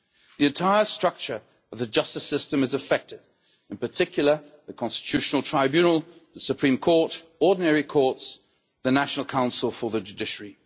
The entire structure of the justice system is affected, in particular, the Constitutional Tribunal, the Supreme Court, the ordinary courts and the National Council for the Judiciary.